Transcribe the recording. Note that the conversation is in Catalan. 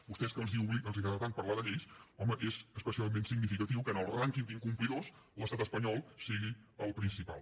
vostès que els agrada tant parlar de lleis home és especialment significatiu que en el rànquing d’incomplidors l’estat espanyol sigui el principal